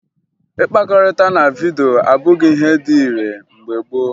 Ịkpakọrịta na vidyo abụghị ihe dị ire mgbe gboo